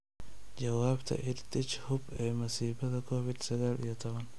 Jawaabta EdTech Hub ee masiibada Covid sagaal iyo tobbaan